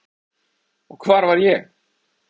Og hvar var ég?